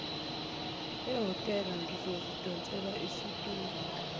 ehhotela ngizoyidonsela isitulo